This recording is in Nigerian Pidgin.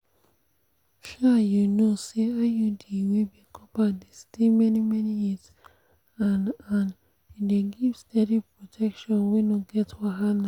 um you know say iud wey be copper dey stay many-many years and and e dey give steady protection wey no get wahala.